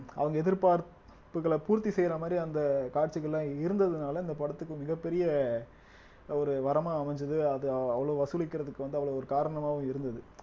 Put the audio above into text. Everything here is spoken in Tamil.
அவங்க எதிர்பார்ப்புகள பூர்த்தி செய்யற மாதிரி அந்த காட்சிகள் எல்லாம் இருந்ததுனால இந்த படத்துக்கு மிகப் பெரிய ஒரு வரமா அமைஞ்சது அது அவ்வளவு வசூலிக்கிறதுக்கு வந்து அவ்வளவு ஒரு காரணமாவும் இருந்தது